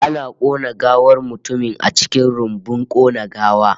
Ana kona gawar mutumin a cikin rumbun kona gawa